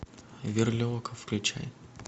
верлиока включай